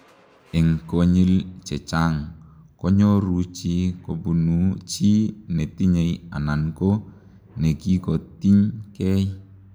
Eng konyil chechang konyoruu chii kobunuu chi netinyei anan ko nekikotiiny gei